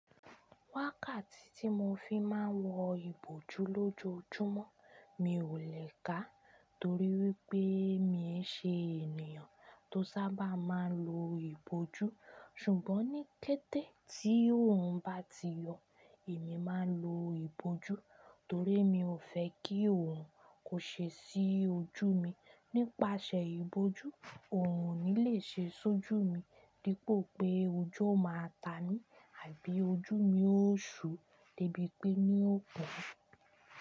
Wákàtí tí mo fi máa ń wọ ìbòjú lójoójúmọ́, mi ò lè ká torí wípé mi ń ṣe ènìyàn tó sábà máa ń lo ìbòjú. Ṣùgbọ́n ní kété tí orun bá ti yọ èmi máa ń lo ìbòjú torí mi ò fẹ́ kí òrun kó ṣe sí ojú mi. Nípasẹ̀ ìbòjú, òrun ò ní lè ṣe sójú mi dípò pé ojú ọ máa ta mi àbí ojú mi ó ṣú dẹ́bí pé ní ó bu.